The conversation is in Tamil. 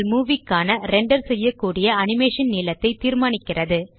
உங்கள் மூவி க்கான ரெண்டர் செய்யக்கூடிய அனிமேஷன் நீளத்தை தீர்மானிக்கிறது